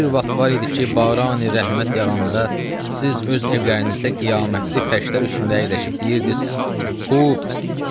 Bir vaxt var idi ki, Barani Rəhmət yağanda, siz öz evlərinizdə qiyamətli fəşlər üstündə əyləşib deyirdiz: Xub.